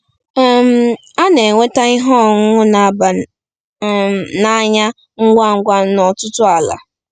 um A na-enweta ihe ọṅụṅụ na-aba um n'anya ngwa ngwa n'ọtụtụ ala.